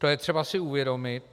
To je třeba si uvědomit.